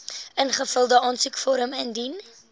ingevulde aansoekvorm indien